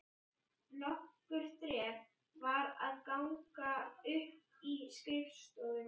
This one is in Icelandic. Nokkur þrep var að ganga upp í stofuna.